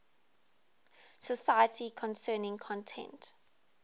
society concerning content